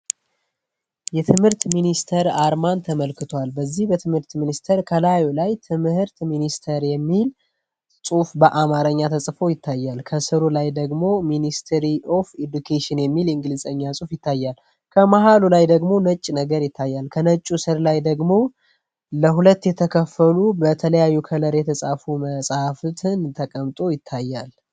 የትምህርት ሚኒስቴር አርማን ተመልክቷል በዚህ በትምህርት ሚኒስቴር ከላይ ትምህርት ሚኒስትር የሚል በአማርኛ ተጽፎ ይታያል ከስሩ ላይ ደግሞ ሚኒስትሪ ኦፍ ኢዱኬሽንየሚታያል ከመሃል ላይ ደግሞ ነጭ ነገር ይታያል ከነጩ ደግሞ በተለያዩ ከለር የተጻፉ መጽሃፍትን ተቀምጦ ይታያል